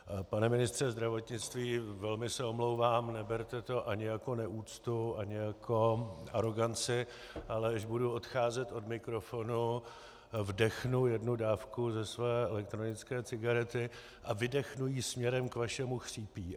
Pane ministře zdravotnictví, velmi se omlouvám, neberte to ani jako neúctu ani jako aroganci, ale až budu odcházet od mikrofonu, vdechnu jednu dávku ze své elektronické cigarety a vydechnu ji směrem k vašemu chřípí.